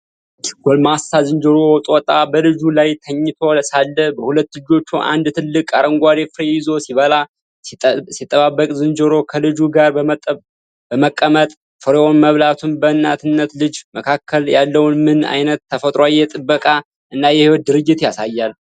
አንድ ጎልማሳ ዝንጀሮ/ጦጣ፣ በልጁ ላይ ተኝቶ ሳለ፣ በሁለት እጆቹ አንድ ትልቅ አረንጓዴ ፍሬ ይዞ ሲበላ/ሲጠባበቃል። ዝንጀሮው ከልጁ ጋር በመቀመጥ ፍሬውን መብላቱ፣ በእናትና ልጅ መካከል ያለውን ምን አይነት ተፈጥሯዊ የጥበቃ እና የህይወት ድርጊት ያሳያል?